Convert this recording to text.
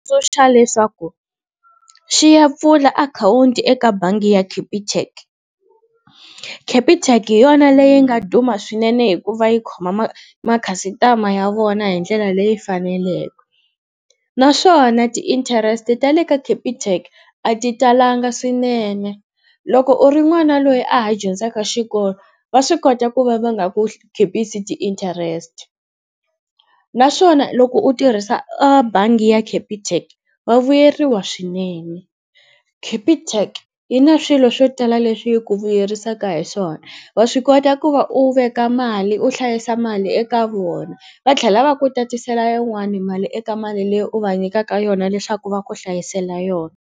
leswaku xi ya pfula akhawunti eka bangi ya Capitec, Capitec hi yona leyi nga duma swinene hikuva yi khoma makhasitama ya vona hi ndlela leyi faneleke, naswona ti-interest tale ka Capitec a ti talanga swinene loko u ri n'wana loyi a ha dyondzaka xikolo va swi kota ku va va nga ku khipisi ti-interest, naswona loko u tirhisa a bangi ya Capitec vavuyeriwa swinene, Capitec yi na swilo swo tala leswi yi ku vuyerisaka hi swona wa swi kota ku va u veka mali u hlayisa mali eka vona va tlhela va ku tatisela yin'wani mali eka mali leyi u va nyikaka yona leswaku va ku hlayisela yona.